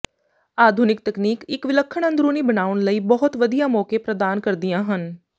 ਆਧੁਨਿਕ ਤਕਨੀਕ ਇੱਕ ਵਿਲੱਖਣ ਅੰਦਰੂਨੀ ਬਣਾਉਣ ਲਈ ਬਹੁਤ ਵਧੀਆ ਮੌਕੇ ਪ੍ਰਦਾਨ ਕਰਦੀਆਂ ਹਨ